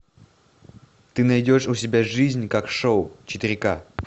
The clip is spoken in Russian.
ты найдешь у себя жизнь как шоу четыре ка